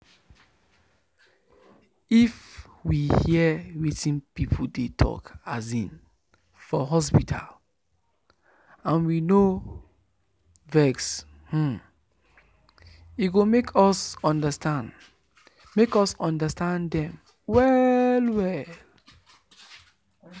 if we hear wetin people dey um talk for hospital and we no um vex e go make us understand make us understand dem well well